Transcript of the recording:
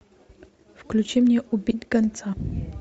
включи мне убить гонца